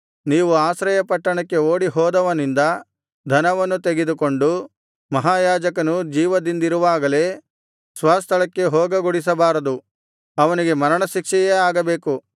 ನೀವು ಆಶ್ರಯಪಟ್ಟಣಕ್ಕೆ ಓಡಿಹೋದವನಿಂದ ಧನವನ್ನು ತೆಗೆದುಕೊಂಡು ಮಹಾಯಾಜಕನು ಜೀವದಿಂದಿರುವಾಗಲೇ ಸ್ವಸ್ಥಳಕ್ಕೆ ಹೋಗಗೊಡಿಸಬಾರದು ಅವನಿಗೆ ಮರಣಶಿಕ್ಷೆಯೇ ಆಗಬೇಕು